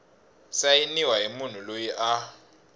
sayiniwa hi munhu loyi a